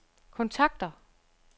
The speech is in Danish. kontakter